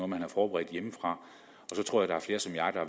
man har forberedt hjemmefra